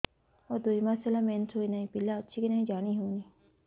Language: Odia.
ମୋର ଦୁଇ ମାସ ହେଲା ମେନ୍ସେସ ହୋଇ ନାହିଁ ପିଲା ଅଛି କି ନାହିଁ ଜାଣି ହେଉନି